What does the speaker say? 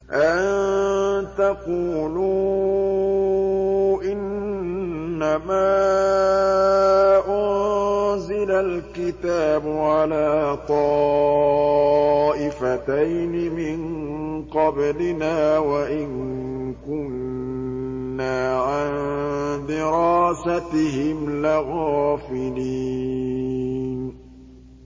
أَن تَقُولُوا إِنَّمَا أُنزِلَ الْكِتَابُ عَلَىٰ طَائِفَتَيْنِ مِن قَبْلِنَا وَإِن كُنَّا عَن دِرَاسَتِهِمْ لَغَافِلِينَ